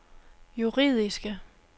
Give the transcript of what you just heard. juridiske